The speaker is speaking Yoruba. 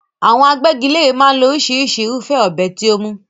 Àwọn agbẹ́gilére máa ń lo oríṣìíríṣìí irúfẹ́ ọ̀bẹ tí ó mú.